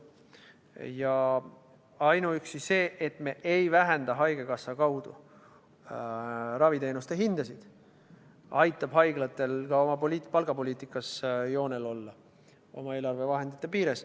Ja ainuüksi see, et me ei vähenda haigekassa kaudu raviteenuste hindasid, aitab haiglatel ka oma palgapoliitikas joonel olla oma eelarvevahendite piires.